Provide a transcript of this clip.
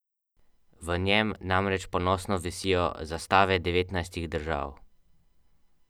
Ali pancete.